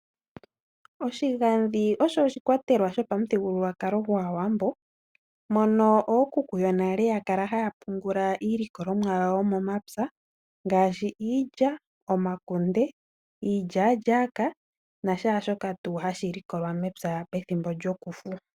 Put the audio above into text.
Oshigadhi osho oshikwatelwa shopamuthigululwakalo gwaawambo mono ookuku yonale ya kala haya pungula iilikolomwa yawo yomomapya ngaashi iilya, omakunde, iilyaalyaka nashaashoka tuu hashi likolwa mepya pethimbo lyokufu.